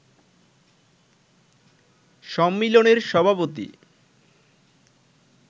সম্মিলনীর সভাপতি